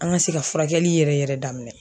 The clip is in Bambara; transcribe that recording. An ka se ka furakɛli yɛrɛ yɛrɛ daminɛ.